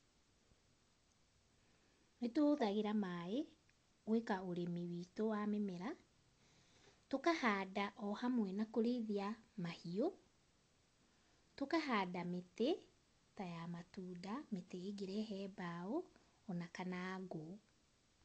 Nĩtũhũthagĩra maĩ, gwĩka ũrĩmi witũ wa mĩmera, tũkahanda o hamwe na kũrĩithia mahiũ, tũkahanda mĩtĩ, ta ya matunda mĩtĩ ĩngĩrehe mbaũ ona kana ngũ.